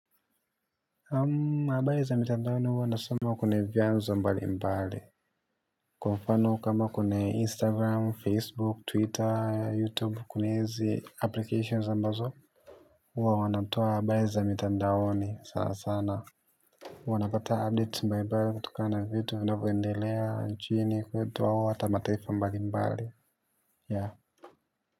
Ambaye za mitandaoni wanasoma kune vyanzo mbali mbali. Kwa mfano kama kune Instagram, Facebook, Twitter, YouTube kunaizi applications ambazo uwa wanatoa abari za mitandaoni sana sana huwa napata update mbali kutokana vitu vinavoendelea nchini kwetu ao hata mataifa mbali mbali ya.